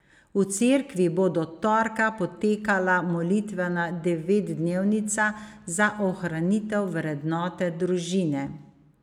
V Cerkvi bo do torka potekala molitvena devetdnevnica za ohranitev vrednote družine.